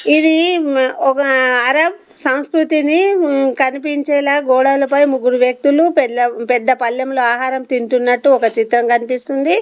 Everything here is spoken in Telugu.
ఇది మ్ ఒక అరబ్ సంస్కృతిని మ్ కనిపించేలా గోడలపై ముగ్గురు వ్యక్తులు పెళ్లా పెద్ద పళ్లెంలో ఆహారం తింటున్నట్టు ఒక చిత్రం కనిపిస్తుంది.